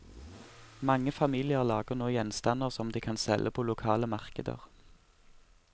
Mange familier lager nå gjenstander som de kan selge på lokale markeder.